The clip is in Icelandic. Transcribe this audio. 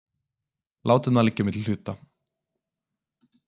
Látum það liggja á milli hluta.